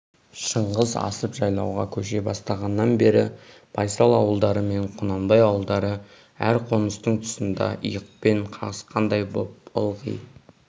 шыңғыс асып жайлауға көше бастағаннан бері байсал ауылдары мен құнанбай ауылдары әр қоныстың тұсында иықпен қағысқандай боп ылғи